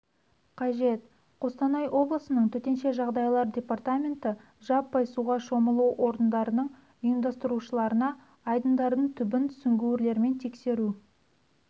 қажет қостанай облысының төтенше жағдайлар департаменті жаппай суға шомылу орындардың ұйымдастырушыларына айдындардың түбін сүңгүірлермен тексеру